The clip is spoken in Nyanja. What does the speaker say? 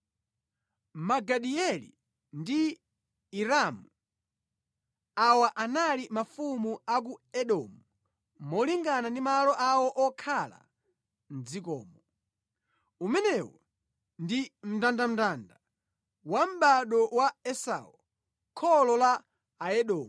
Magidieli ndi Iramu. Awa anali mafumu a ku Edomu molingana ndi malo awo okhala mʼdzikomo. Umenewu ndi mndandanda wa mʼbado wa Esau, kholo la Aedomu.